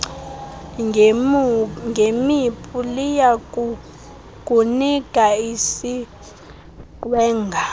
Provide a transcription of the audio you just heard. ngemipu liyakukunika isiqwengana